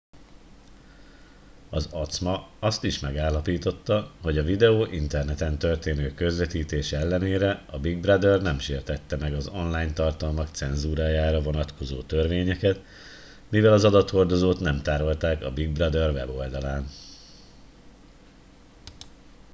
az acma azt is megállapította hogy a videó interneten történő közvetítése ellenére a big brother nem sértette meg az online tartalmak cenzúrájára vonatkozó törvényeket mivel az adathordozót nem tárolták a big brother weboldalán